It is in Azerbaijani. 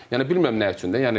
Yəni bilmirəm nə üçün də.